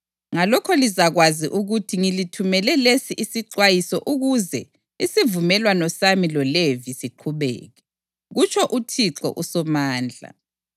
Ngalokho lizakwazi ukuthi ngilithumele lesi isixwayiso ukuze isivumelwano sami loLevi siqhubeke,” kutsho uThixo uSomandla.